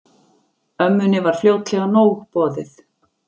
Ömmunni var fljótlega nóg boðið.